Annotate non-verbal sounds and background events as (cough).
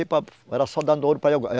(unintelligible) Era só dando ouro (unintelligible)